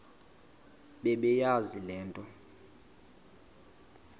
bebeyazi le nto